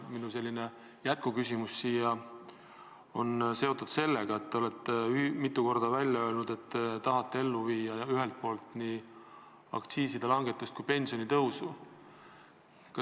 Minu jätkuküsimus on seotud sellega, et te olete mitu korda öelnud, et tahate ellu viia ühelt poolt nii aktsiisilangetust kui ka pensionitõusu.